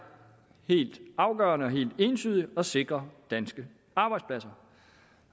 helt afgørende og helt entydigt at sikre danske arbejdspladser